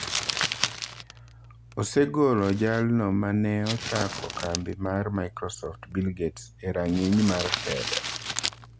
Osegolo jalno mane ochako kambi mar Microsoft, Bill Gates, e rang'iny mar telo.